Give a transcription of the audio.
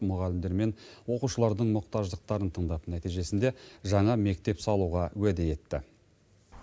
мұғалімдер мен оқушылардың мұқтаждықтарын тыңдап нәтижесінде жаңа мектеп салуға уәде етті